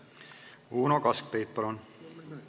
Uno Kaskpeit, palun!